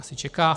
Asi čeká.